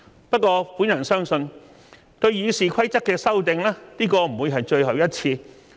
不過，我相信對《議事規則》的修訂，這不會是最後一次。